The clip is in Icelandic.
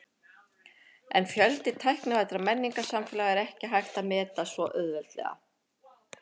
En fjölda tæknivæddra menningarsamfélaga er ekki hægt að meta svo auðveldlega.